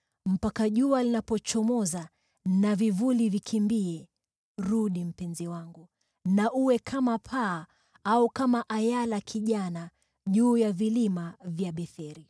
Mpaka jua linapochomoza, na vivuli vikimbie, rudi, mpenzi wangu, na uwe kama paa, au kama ayala kijana juu ya vilima vya Betheri.